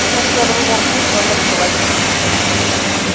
നമുക്ക് ചെലവ് കുറച്ച് നല്ല കുട്ടികളായിട്ട് വളർത്താൻ പറ്റും